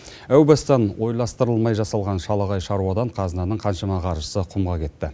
әу бастан ойластырылмай жасалған шалағай шаруадан қазынаның қаншама қаржысы құмға кетті